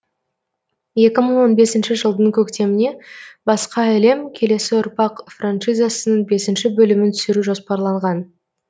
екі мың он бесінші жылдың көктеміне басқа әлем келесі ұрпақ франшизасының бесінші бөлімін түсіру жоспарланған